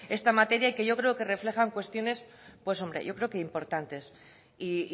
esta materia y que yo creo que refleja cuestiones importantes y